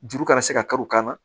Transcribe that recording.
Juru kana se ka kari u kan na